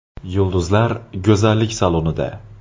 Yulduzlar go‘zallik salonida .